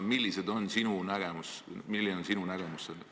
Milline on sinu nägemus sellest?